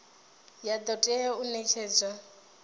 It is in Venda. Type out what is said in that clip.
ya do tea u netshedzwa